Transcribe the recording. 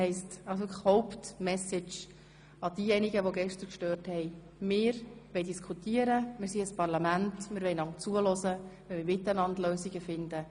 Die Haupt-Message an diejenigen, die gestern gestört haben, lautet: Wir wollen diskutieren, wir sind ein Parlament, wir wollen einander zuhören und miteinander Lösungen finden.